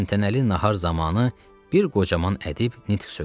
Təntənəli nahar zamanı bir qocaman ədib nitq söylədi.